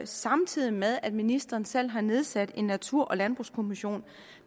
samtidig med at ministeren selv har nedsat en natur og landbrugskommission